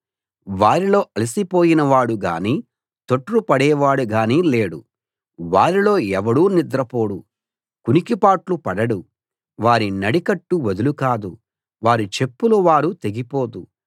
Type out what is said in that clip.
వారిలో అలసిపోయిన వాడు గానీ తొట్రు పడేవాడు గానీ లేడు వారిలో ఎవడూ నిద్రపోడు కునికిపాట్లు పడడు వారి నడికట్టు వదులు కాదు వారి చెప్పుల వారు తెగిపోదు